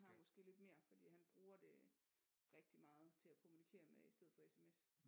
Har måske lidt mere fordi han bruger det rigtig meget til at kommunikere med i stedet for SMS